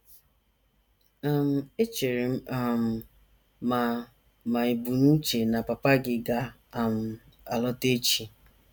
um Echere m um ma ma ì bu n’uche na papa gị ga - um alọta echi. ”